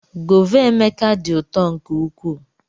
Gova Emeka dị ụtọ nke ukwuu.